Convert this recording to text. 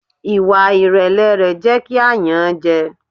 Ìwà ìrẹ̀lẹ̀ rẹ̀ jẹ́ kí a yàn án jẹ.